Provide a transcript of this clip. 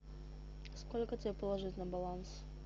сколько тебе положить на баланс